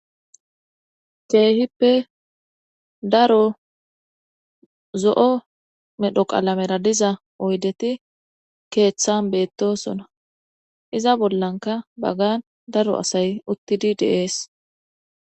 Ceehippe daro zo'o medho qalamera diza oydeti keeththan beettosona iza bollanka baggan daro asay uttidi deees.